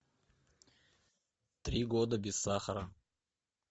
три года без сахара